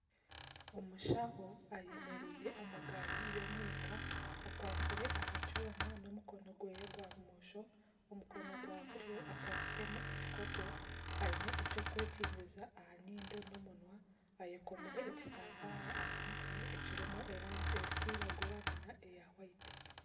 Omushaho ayemereire omu gaari y'omwika akwasire aha kyoma n'omukono gwe gwa bumosho, omu mukono gwa buryo akwasire mu ekikopo. Ayine ekyo kwekingiriza aha nyindo n'omunwa. Ayekomire ekitambara aha mutwe ekirimu erangi erikwiragura na ne ya whayitu.